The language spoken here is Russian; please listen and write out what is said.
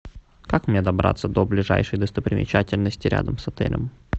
как мне добраться до ближайшей достопримечательности рядом с отелем